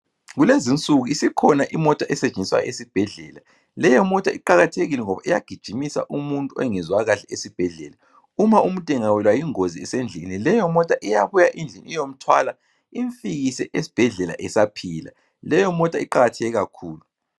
Kulezinsuku iskhona imota esetshenziswa esibhedlela. Leyo mota iqakathekile ngoba iyagijimisa umuntu ongezwakahle esibhedlela. Uma umuntu engawelwa yingozi esendlelen leyo mota iyabuya iyomthwala imfikise esbhedlela esaphila. Leyo mota iqakatheke kakhulu.